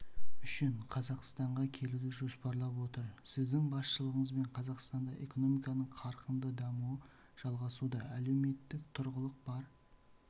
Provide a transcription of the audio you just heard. үшін қазақстанға келуді жоспарлап отыр сіздің басшылығыңызбен қазақстанда экономиканың қарқынды дамуы жалғасуда әлеуметтік тұрақтылық бар